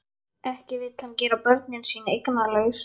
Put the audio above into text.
Ekki vill hann gera börnin sín eignalaus.